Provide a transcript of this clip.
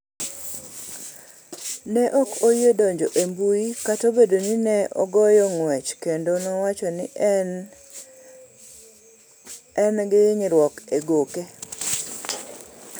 Ne ok oyie donjo e mbui kata obedo ni ne ogoyo ng’wech kendo nowacho ni ne en gi hinyruok e goke.